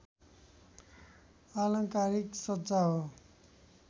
आलङ्कारिक सज्जा हो